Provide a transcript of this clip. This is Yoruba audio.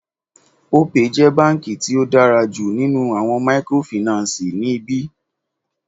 Opay jẹ́ báńkì tí ó dára jù nínú àwọn mikorofìnánsìì ní ibí.